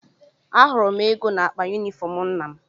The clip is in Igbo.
Ahụrụ m ego n’akpa yunifọm nna m.